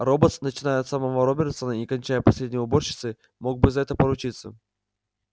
роботс начиная от самого робертсона не кончая последней уборщицей мог бы за это поручиться